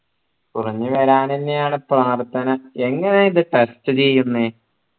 കുറഞ്ഞു വരാൻ എന്നെയാണ് പ്രാർത്ഥന എങ്ങനെയാ ഇത് ചെയ്യുന്നേ